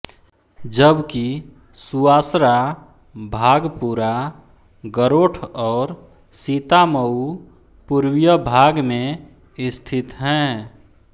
जबकि सुवासरा भागपुरा गरोठ और सीतामऊ पूर्वीय भाग में स्थित हैं